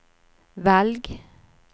velg